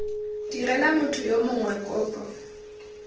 direla motho yo mongwe kopo